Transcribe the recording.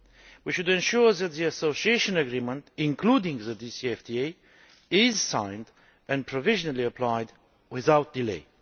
We should ensure that the Association Agreement, including the DCFTA, is signed and provisionally applied without delay.